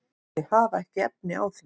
Þau hafa ekki efni á því.